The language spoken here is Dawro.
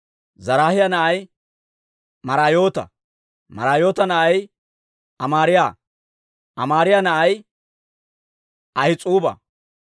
Zaraahiyaa na'ay Maraayoota; Maraayoota na'ay Amaariyaa; Amaariyaa na'ay Ahis'uuba;